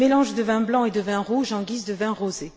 Un mélange de vin blanc et de vin rouge en guise de vin rosé.